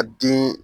Ka den